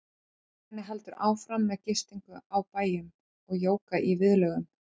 Ferðinni heldur áfram með gistingu á bæjum og jóga í viðlögum.